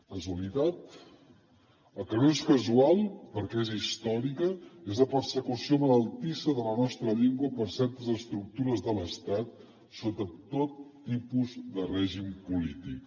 casualitat el que no és casual perquè és històrica és la persecució malaltissa de la nostra llengua per certes estructures de l’estat sota tot tipus de règim polític